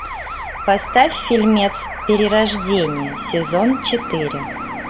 поставь фильмец перерождение сезон четыре